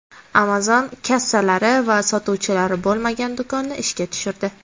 Amazon kassalari va sotuvchilari bo‘lmagan do‘konni ishga tushirdi .